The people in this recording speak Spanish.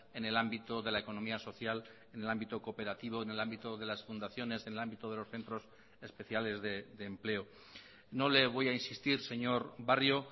en el ámbito de la economía social en el ámbito cooperativo en el ámbito de las fundaciones en el ámbito de los centros especiales de empleo no le voy a insistir señor barrio